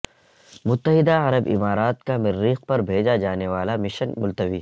متحدہ عرب امارات کا مریخ پر بھیجا جانے والا مشن ملتوی